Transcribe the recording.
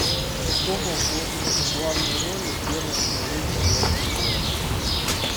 кто был в главной роли в первом эпизоде звездных воинов